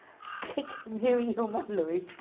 O que é que é mil e uma noite?